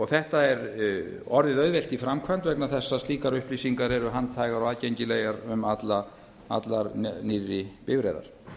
þetta er orðið auðvelt í framkvæmd vegna þess að slíkar upplýsingar eru handhægar og aðgengilegar um allar nýrri bifreiðar